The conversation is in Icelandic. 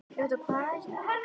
Hún bjó sig aftur í árásarham.